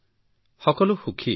সকলোৱে সুখী ছাৰ